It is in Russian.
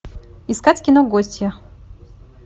искать кино гостья